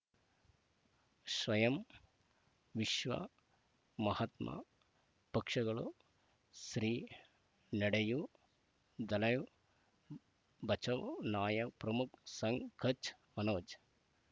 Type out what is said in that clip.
ಸ್ವಯಂ ವಿಶ್ವ ಮಹಾತ್ಮ ಪಕ್ಷಗಳು ಶ್ರೀ ನಡೆಯೂ ದಲೈ ಬಚೌ ನಾಯಕ ಪ್ರಮುಖ ಸಂಘ ಕಚ್ ಮನೋಜ್